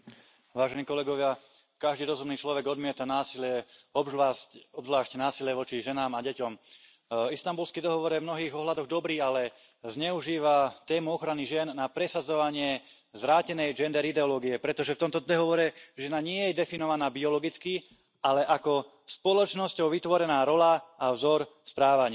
Pán predsedajúci, každý rozumný človek odmieta násilie, obzvlášť násilie voči ženám a deťom. Istanbulský dohovor je v mnohých ohľadoch dobrý, ale zneužíva tému ochrany žien na presadzovanie zvrátenej gender ideológie, pretože v tomto dohovore žena nie je definovaná biologicky, ale ako spoločnosťou vytvorená rola a vzor správania.